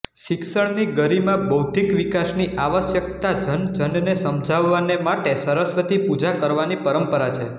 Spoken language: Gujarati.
શિક્ષણની ગરિમાબૌદ્ધિક વિકાસની આવશ્યકતા જનજનને સમજાવવાને માટે સરસ્વતી પૂજા કરવાની પરંપરા છે